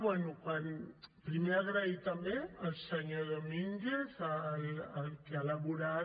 bé primer agrair també al senyor domínguez que ha elaborat